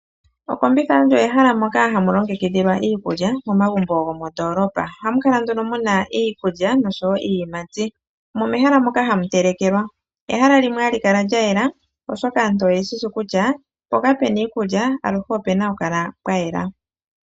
Okombitha olyo ehala moka hamu longekidhilwa iikulya momagumbo gomondoolopa. Ohamu kala nduno muna iikulya noshowo iiyimati. Omo mehala moka hamu telekelwa. Ehala limwe hali kala lya yela oshoka aantu oye shishi kutya mpoka puna iikulya aluhe opuna oku kala pwa yela.